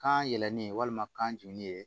Kan yɛlɛlen walima kan ju ye